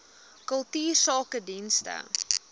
kultuursakedienste